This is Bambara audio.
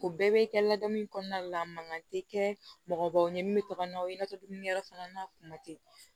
O bɛɛ bɛ kɛ ladamu kɔnɔna la mankan tɛ kɛ mɔgɔbaw ye min bɛ taga n'a ye i n'a fɔ dumuni yɔrɔ fana na kuma tɛ